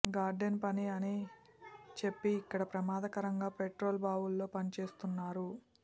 garden పని అని చెప్పి ఇక్కడ ప్రమాదకరంగా పెట్రోల్ బావుల్లో పనిచేయిస్తున్నారు